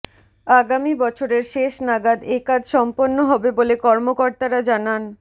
আগামী বছরের শেষ নাগাদ একাজ সম্পন্ন হবে বলে কর্মকর্তারা জানান